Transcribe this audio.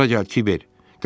Bura gəl, Kiber!